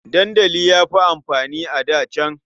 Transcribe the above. Dandali ya fi amfani a da can.